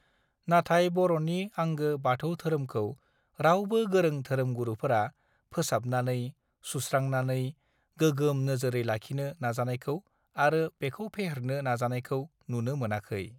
नाथाय बर नि आंगो बाथौ धोरोमखौ रावबो गोरों धोरोमगुरुफोरा फोसाबनानै सुस्रांनानै गोगोम नाजोर लाखिनो नाजानायखौ आरो बेखौ फेहेरनो नाजानायखौ नुनो मोनाखै